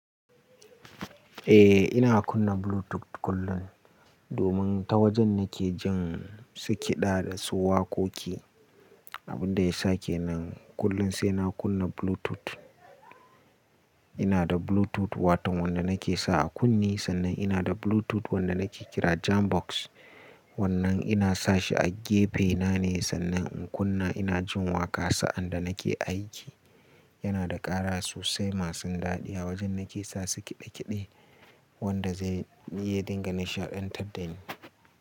Eh ina kunna Bluetooth kullum domin ta wajen nake jin su kiɗa da su waƙoƙi. Abin da ya sake nan kullum sai na kunna Bluetooth. Ina da Bluetooth wato wanda nake sa a kunne sannan ina da Bluetooth wanda nake kira Jambox wannan ina sa shi a gefe na ne sannan in kunna ina jin waƙa sa'an da nake aiki. Yana da ƙara sosai masu daɗi a wajen nake sa su ƙiɗe ƙiɗe wanda zai iya dinga na shaɗen taɗani.